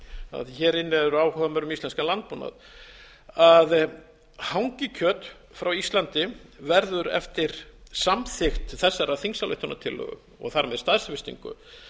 að hér inni eru áhugamenn um íslenskan landbúnað að hangikjöt frá íslandi verður eftir samþykkt þessarar þingsályktunartillögu og þar með staðfestingu